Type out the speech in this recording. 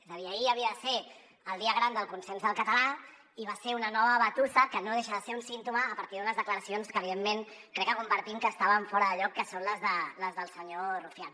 és a dir ahir havia de ser el dia gran del consens del català i va ser una nova batussa que no deixa de ser un símptoma a partir d’unes declaracions que evidentment crec que compartim que estaven fora de lloc que són les del senyor rufián